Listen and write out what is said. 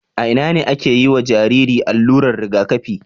a Ina ake yiwa Jariri allurar Riga kafi